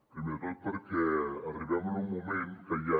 primer de tot perquè arribem en un moment que ja